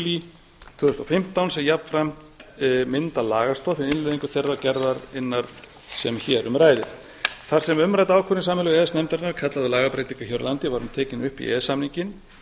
tvö þúsund og fimmtán sem jafnframt myndar lagastoð fyrir innleiðingu þeirrar gerðarinnar sem hér um ræðir þar sem umrædd ákvörðun sameiginlegu e e s nefndarinnar kallar á lagabreytingu hér á landi var hún tekin upp í e e s samninginn